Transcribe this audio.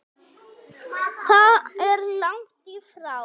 Það er langt í frá.